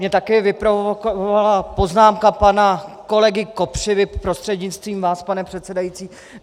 Mě také vyprovokovala poznámka pana kolegy Kopřivy prostřednictvím vás, pane předsedající.